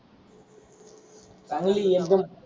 चांगली एकदम.